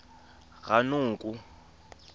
ranoko